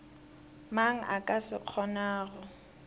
mang a ka se kgonago